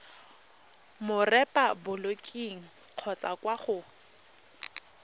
mo repaboliking kgotsa kwa go